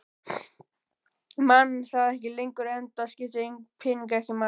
Ég man það ekki lengur enda skiptu peningar ekki máli.